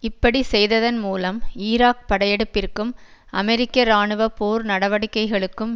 இப்படி செய்ததன் மூலம் ஈராக் படையெடுப்பிற்கும் அமெரிக்க இராணுவ போர் நடவடிக்கைகளுக்கும்